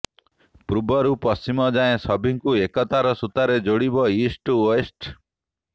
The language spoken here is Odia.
ପୂର୍ବରୁ ପଶ୍ଚିମ ଯାଏଁ ସଭିଙ୍କୁ ଏକତାର ସୂତାରେ ଯୋଡିବ ଇଷ୍ଟ ଟୁ ୱେଷ୍ଟ